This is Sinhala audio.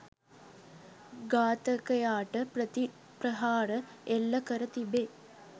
ඝාතකයාට ප්‍රතිප්‍රහාර එල්ල කර තිබේ